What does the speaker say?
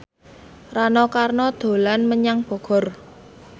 Rano Karno dolan menyang Bogor